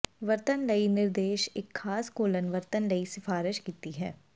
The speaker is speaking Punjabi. ਵਰਤਣ ਲਈ ਨਿਰਦੇਸ਼ ਇੱਕ ਖਾਸ ਘੋਲਨ ਵਰਤਣ ਲਈ ਸਿਫਾਰਸ਼ ਕੀਤੀ ਹੈ